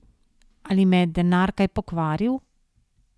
Ali me je denar kaj pokvaril?